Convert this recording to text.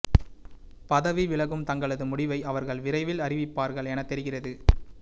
பதவி விலகும் தங்களது முடிவை அவர்கள் விரைவில் அறிவிப்பார்கள் என தெரிகிறது